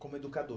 Como